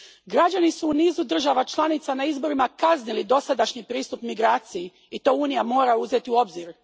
Građani su u nizu država članica na izborima kaznili dosadašnji pristup migraciji i to Unija mora uzeti u obzir.